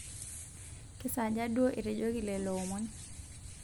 kesaaja duo etejoki lelo omon